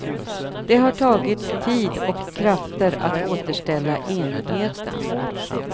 Det har tagit tid och krafter att återställa enigheten.